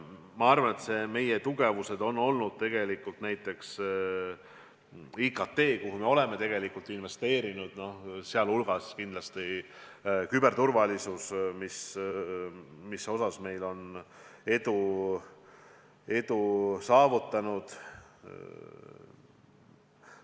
Ma arvan, et meie suur tugevus on olnud näiteks IKT sektor, kuhu me oleme palju investeerinud, sealhulgas kindlasti küberturvalisus, kus me oleme edu saavutatud.